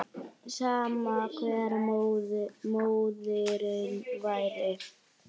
Sama hver móðirin væri.